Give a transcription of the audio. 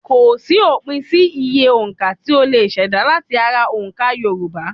Kòsí òpin sí iye òǹka tí a lè ṣèdá láti ara òǹkà Yorùbá